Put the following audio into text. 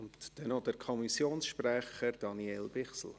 Und dann noch der Kommissionssprecher, Daniel Bichsel.